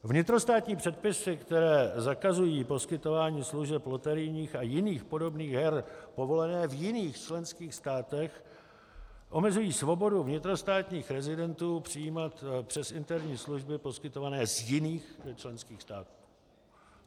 Vnitrostátní předpisy, které zakazují poskytování služeb loterijních a jiných podobných her povolené v jiných členských státech, omezují svobodu vnitrostátních rezidentů přijímat přes interní služby poskytované z jiných členských států.